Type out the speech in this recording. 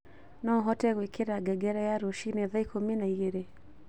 No ũhote gwĩkĩra ngengere ya rũcinĩ thaa ikũmi na igĩrĩ